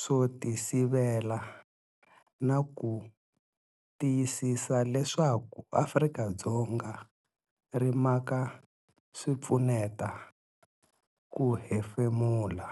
swo tisivela na ku tiyisisa leswaku Afrika-Dzonga ri maka swipfuneta ku hefemula.